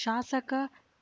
ಶಾಸಕ